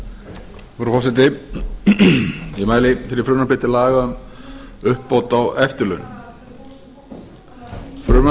virðulegi forseti ég mæli hér fyrir frumvarpi til laga um uppbót á eftirlaun frumvarp